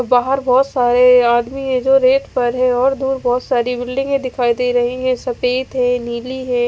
बाहर बहोत सारे आदमी है जो रेत पर है और दूर बहोत सारी बिल्डिंगे दिखाई दे रही है। सफेद है नीली है।